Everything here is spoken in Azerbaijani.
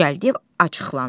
Gəldiyev acıqlandı.